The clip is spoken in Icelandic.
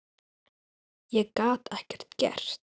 Ég gat ekkert gert.